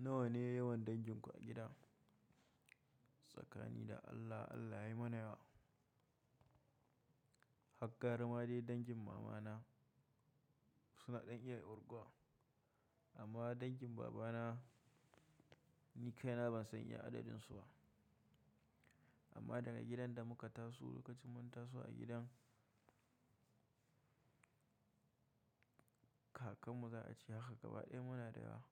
Nawa ne yawan danginku a gida? Tsakani da Allah, Allah ya yi mana yawa. Haggaravma dai dangin mamana suna ɗan iya yarguwa amma dangin babana ni kaina ban san iya adadinsu ba. Amma daga gidan da muka taso, lokacin mun taso a gidan, kakanmu za a ce haka gaba ɗaya muna da yawa.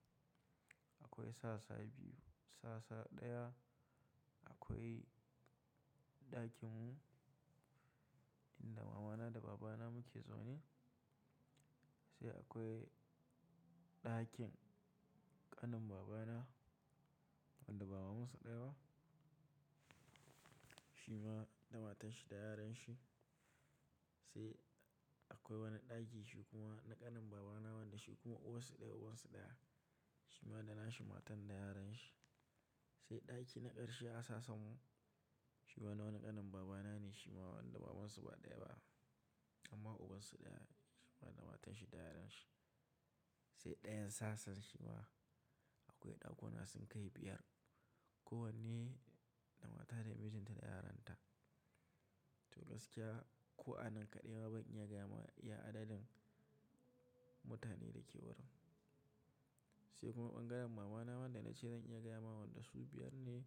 Akwai sasa biyu, sasa ɗaya akwai ɗakinmu inda mamana da babana muke zaune. Sai akwai ɗakin ƙanin babana wanda baba masa ɗaya ba, shi ma da matanshi da yaran shi. Sai akwai wani ɗaki shi kuma na ƙanin babana wanda shi kuma uwan su ɗaya uwan su ɗaya, shi ma da na shi matan da yaran shi. Sai ɗaki na ƙarshe a sasen mu shi ma na wani ƙanin babana ne shi ma wanda baban su ba ɗaya ba amma uwan su ɗaya, shi ma da matanshi da yaran shi. Sai ɗayan sassan shi ma akwai ɗakuna sun kai biyar. Kowanne da mata da mijin ta da yaranta. To gaskiya ko'a nan kaɗai ma ban iya gaya ma iya adadin mutane da ke wurin. Sai kuma ɓangaren mamana wanda na ce zan iya gaya ma wanda su biyar ne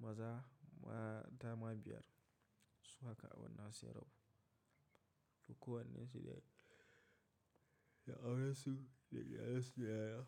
maza ma dama biyar. Su haka a wannan shekarar. To kowannensu da, da auransu da yaran su da yaya.